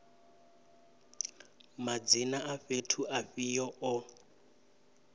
madzina a fhethu afhio o